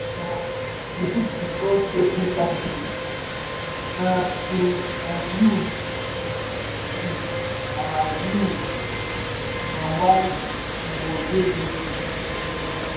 um you fit discuss wetin gratitude mean um to um you to um you and why we go dey grateful?